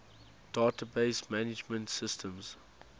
database management systems